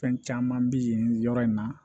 Fɛn caman bɛ yen yɔrɔ in na